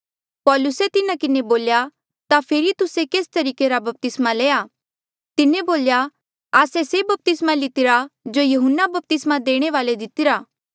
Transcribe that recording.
पौलुसे तिन्हा किन्हें बोल्या ता फेरी तुस्से केस तरीके रा बपतिस्मा लया तिन्हें बोल्या आस्से से बपतिस्मा लितिरा जो यहून्ना बपतिस्मा देणे वाल्ऐ दितिरा